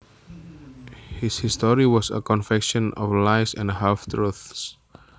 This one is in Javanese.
His story was a confection of lies and half truths